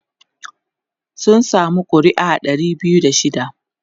sun samu ƙuri'a Dari biyu da shida